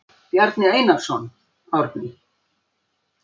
Bjarni Einarsson, Árni.